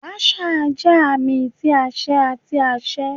Marshal jẹ aami ti aṣẹ ati aṣẹ.